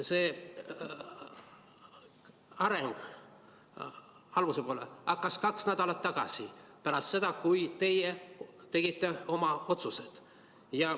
See areng hakkas kaks nädalat tagasi, pärast seda, kui teie tegite oma otsused.